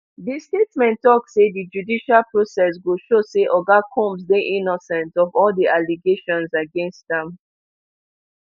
di statement tok say di judicial process go show say oga combs dey innocent of all di allegations against am